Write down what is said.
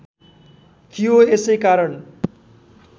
थियो यसै कारण